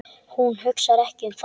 Hún hugsar ekki um það.